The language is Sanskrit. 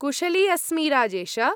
कुशली अस्मि, राजेश।